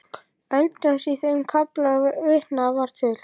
Eldjárns í þeim kafla sem vitnað var til.